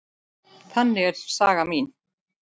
Þannig er saga mín.